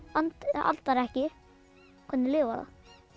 andar ekki hvernig lifir það